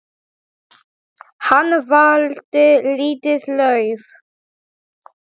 Hann valdi lítið lauf.